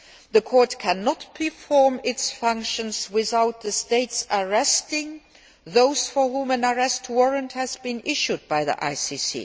The Court cannot perform its functions without the states arresting those for whom an arrest warrant has been issued by the